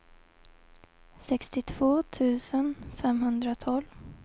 sextiotvå tusen femhundratolv